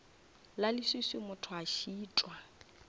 la leswiswi motho a šitwa